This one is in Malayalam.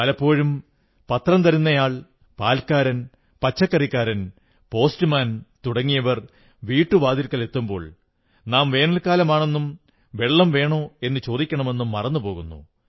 പലപ്പോഴും പത്രം തരുന്നയാൾ പാൽക്കാരൻ പച്ചക്കറിക്കാരൻ പോസ്റ്റ് മാൻ തുടങ്ങിയവർ വീട്ടുവാതിൽക്കലെത്തുമ്പോൾ നാം വേനൽക്കാലമാണെന്നും വെള്ളം വേണോ എന്നു ചോദിക്കണമെന്നും മറന്നു പോകുന്നു